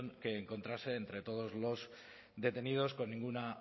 que encontrase entre todos los detenidos con ninguna